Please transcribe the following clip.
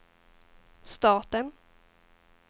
staten